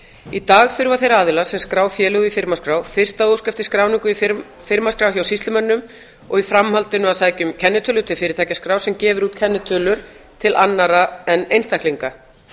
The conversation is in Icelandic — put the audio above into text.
í dag þurfa þeir aðilar sem skrá félög í firmaskrá fyrst að óska eftir skráningu í firmaskrá hjá sýslumönnum og í framhaldinu að sækja um kennitölu til fyrirtækjaskrár sem gefur út kennitölur til annarra en einstaklinga